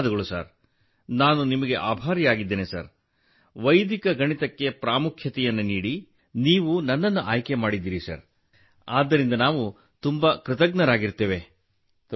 ಧನ್ಯವಾದಗಳು ಸರ್ ನಾನು ನಿಮಗೆ ಆಭಾರಿಯಾಗಿದ್ದೇನೆ ಸರ್ ವೈದಿಕ ಗಣಿತಕ್ಕೆ ಪ್ರಾಮುಖ್ಯವನ್ನು ನೀಡಿ ನೀವು ನನ್ನನ್ನು ಆಯ್ಕೆ ಮಾಡಿದ್ದೀರಿ ಸರ್ ಆದ್ದರಿಂದ ನಾವು ತುಂಬಾ ಕೃತಜ್ಞರಾಗಿರುತ್ತೇವೆ